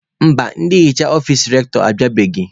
Mba, ndị nhicha ọfici Rektọ abịabeghị.